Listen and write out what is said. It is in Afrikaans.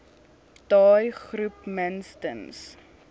daai groep minstens